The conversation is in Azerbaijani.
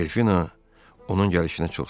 Delfina onun gəlişinə çox sevindi.